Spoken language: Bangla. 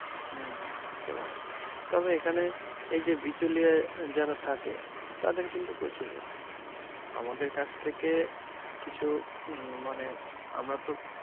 উম হম হতে পারে. তবে এখানে এই যে বিচলিয়ায় অ্যাঁ যারা থাকে, তাদের কিন্তু প্রচুর লাভ. আমাদের কাছ থেকে কিছু হম মানে আমরা তো